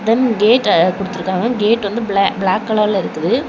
ம் கேட்ட குடுத்திருக்காங்க கேட் வந்து பிள பிளாக் கலர்ல இருக்குது.